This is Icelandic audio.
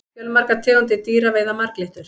fjölmargar tegundir dýra veiða marglyttur